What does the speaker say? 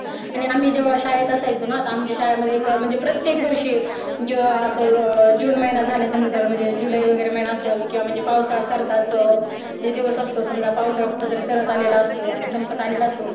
आणि जेव्हा आम्ही शाळेत असायचो ना तर आमच्या शाळेमधें अ प्रत्येक वर्षी जून महिना झाल्याच्या नंतर जुल्लाई वगैरे महिना असेल किंव्हा म्हणजे पावसाळा सरताच दिवस असतो समजा पावसाळा सरत आलेला असतो सपंत आलेला असतो